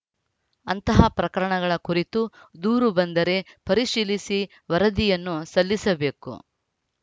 ಅಂತಹ ಪ್ರಕರಣಗಳ ಕುರಿತು ದೂರು ಬಂದರೆ ಪರಿಶೀಲಿಸಿ ವರದಿಯನ್ನು ಸಲ್ಲಿಸಬೇಕು